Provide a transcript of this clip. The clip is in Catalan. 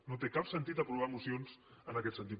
no té cap sentit aprovar mocions en aquest sentit